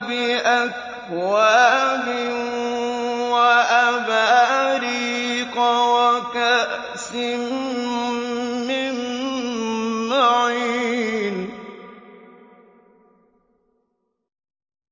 بِأَكْوَابٍ وَأَبَارِيقَ وَكَأْسٍ مِّن مَّعِينٍ